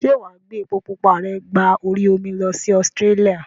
Ṣé wàá gbé epo pupa rẹ gba orí omi lọ sí Australia?